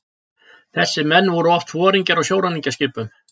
Þessir menn voru oft foringjar á sjóræningjaskipunum.